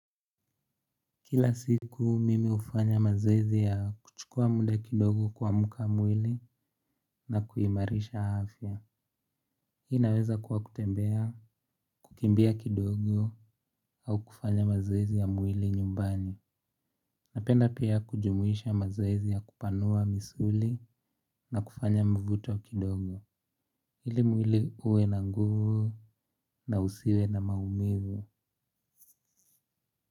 Kila siku mimi hufanya mazoezi ya kuchukua muda kidogo kuamsha mwili na kuimarisha afya. Hii inaweza kuwa kutembea, kukimbia kidogo au kufanya mazoezi ya mwili nyumbani. Napenda pia kujumuisha mazoezi ya kupanua misuli na kufanya mvuto wa kidogo ili mwili uwe na nguvu na usiwe na maumivu.